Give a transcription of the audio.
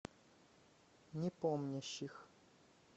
непомнящих